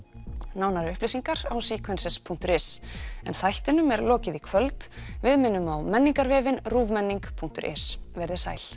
nánari upplýsingar á punktur is en þættinum er lokið í kvöld við minnum á Menningarvefinn ruvmenning punktur is veriði sæl